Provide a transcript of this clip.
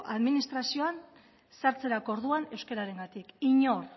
administrazioan sartzerako orduan euskararengatik inor